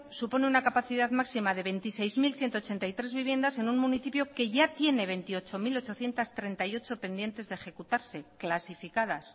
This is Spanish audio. supone una capacidad máxima de veintiséis mil ciento ochenta y tres viviendas en un municipio que ya tiene veintiocho mil ochocientos treinta y ocho pendientes de ejecutarse clasificadas